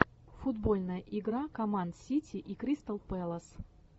футбольная игра команд сити и кристал пэлас